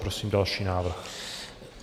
Prosím další návrh.